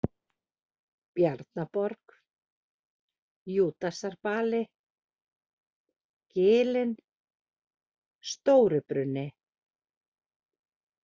Bjarnaborg, Júdasarbali, Gilin, Stóribruni